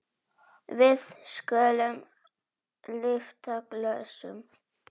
Við skulum lyfta glösum!